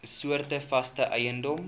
soorte vaste eiendom